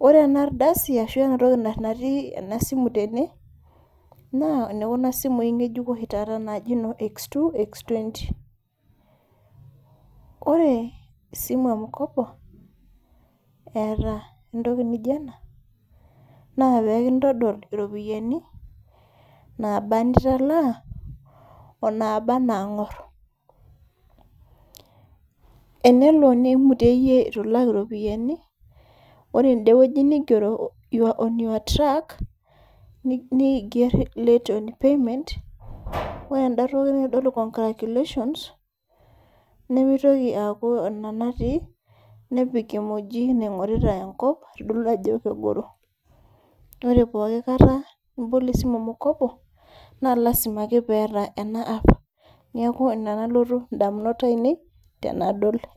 Ore enardasi ashu enatoki natii enasimu tene, naa enekuna simui ng'ejuko oshi taata naji no X2,X20. Ore esimu e mkopo, eeta entoki nijo ena, naa pekintodol iropiyiani, naba nitalaa, onaba nang'or. Enelo nimutieyie itu ilak iropiyiani, ore edewueji nigero you're on your track ,niger late on payment, ore enda toki naitodolu congratulations, nimitoki aku ina natii, nepik emoji naing'orita enkop, aitodolu ajo kegoro. Ore pooki kata nibol esimu e mkopo, na lasima ake peeta ena app. Neeku ina nalotu indamunot ainei, tenadol